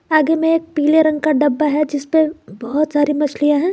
आगे में पीले रंग का डब्बा है जिसपे बहुत सारी मछलियां है।